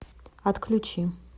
отключи